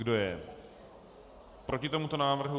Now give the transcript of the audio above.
Kdo je proti tomuto návrhu?